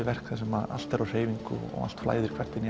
verk þar sem allt er á hreyfingu og allt flæðir inn í